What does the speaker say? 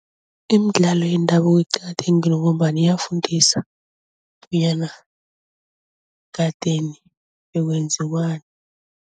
Imidlalo yendabuko iqakathekile ngombana iyafundisana bonyana kadeni bekwenziwani.